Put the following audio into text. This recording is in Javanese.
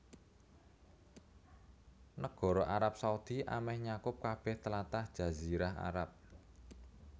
Nagara Arab Saudi amèh nyakup kabèh tlatah Jazirah Arab